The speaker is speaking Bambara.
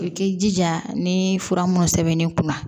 I k'i jija ni fura mun sɛbɛnni kunna